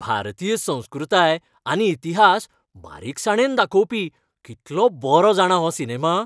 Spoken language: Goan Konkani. भारतीय संस्कृताय आनी इतिहास बारीकसाणेन दाखोवपी कितलो बरो जाणा हो सिनेमा!